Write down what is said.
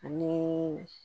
Ani